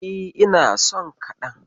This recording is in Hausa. E, ina son kaɗan.